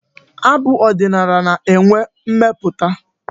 Abụ ọdịnala na-enwe mmeputa.